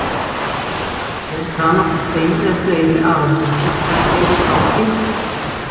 Í einni málsgrein er annað hvort ein eða fleiri aðalsetning sem eru þá tengdar.